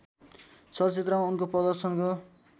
चलचित्रमा उनको प्रदर्शनको